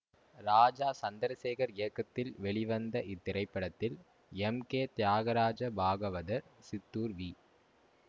ராஜா சந்திரசேகர் இயக்கத்தில் வெளிவந்த இத்திரைப்படத்தில் M K Thyagaraja Bhagavathar Chittoor we